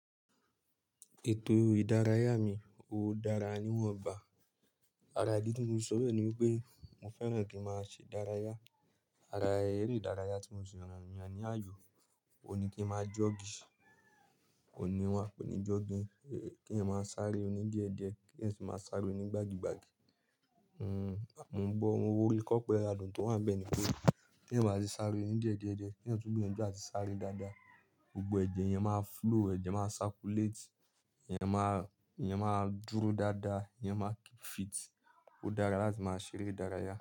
Ètò ìdárayá mi ò dára níwọ̀n bá. Ara idi tí mo sọ bẹ́ẹ̀ ni wípé mo fẹ́ràn kí ń máa ṣe ìdárayá. Ara ere ìdárayá tí mo ti ràn ní àyò, òní kí ń máa jọ́ọ̀gì, òní wọ́n ń pè ní jọ́ọ̀gì, kí ń máa sáré oní díẹ̀ díẹ̀, kí ń sì máa sáré onígbàgí gbàgí. Nn, mo gbọ́ owó orí kọ́pẹ́ adùn tó wà níbẹ̀ ni pé kí ń máa sì sáré oníjẹ díẹ̀ díẹ̀ díẹ̀, kí ọ̀tún bí ọ̀tún jẹ́ a ti sáré dáadáa, gbogbo ẹ̀jẹ̀ yẹn máa flow, ẹ̀jẹ̀ máa circulate, ìyẹn máa, ìyẹn máa dúró dáadáa, ìyẹn máa keep fit. Ó dára láti máa ṣeré ìdárayá.